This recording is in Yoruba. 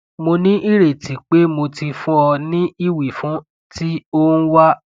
mo ní ireti pé mo ti fún ọ ní ìwífún tí o ń wá